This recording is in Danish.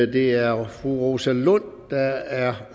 det er fru rosa lund der er